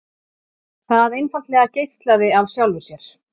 Það einfaldlega geislaði af sjálfu sér.